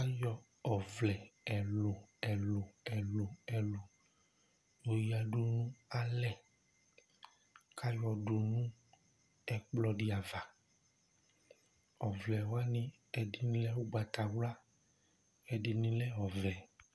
Ayɔ ɔvlɛ ɛluɛluɛluɛlu oyadu nu alɛ, k'ayɔ dù nu ɛkplɔ di ava, ɔvlɛwani ɛdini lɛ ugbatawla, ɛdini lɛ ɔvɛ